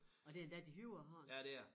Og det endda din højre hånd